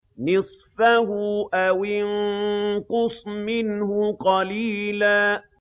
نِّصْفَهُ أَوِ انقُصْ مِنْهُ قَلِيلًا